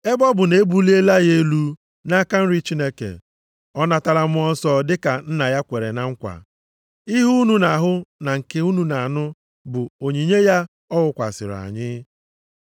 Ebe ọ bụ na e buliela ya elu nʼaka nri Chineke. Ọ natala Mmụọ Nsọ dịka Nna ya kwere na nkwa. Ihe a unu na-ahụ na nke unu na-anụ bụ onyinye ya ọ wụkwasịrị anyị.